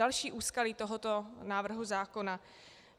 Další úskalí tohoto návrhu zákona.